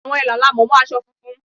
Àwọn Ẹ̀là la mọ̀ mọ́ aṣọ funfun.